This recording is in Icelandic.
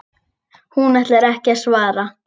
Hún ætlar ekki að svara.